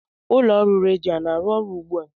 ụlọ ọrụ redio na-arụ ọrụ ugbu a?